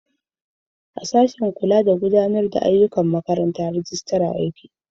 Sashin Rijistar yana sashen gudanarwa.